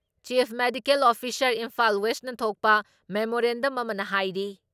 Chief medical officer Imphal ꯋꯦꯁꯅ ꯊꯣꯛꯄ memorandum ꯑꯃꯅ ꯍꯥꯏꯔꯤ ꯫